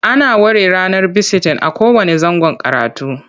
Ana ware ranar bisitin a kowanne zangon karatu.